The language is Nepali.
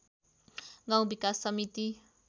गाउँ विकास समिति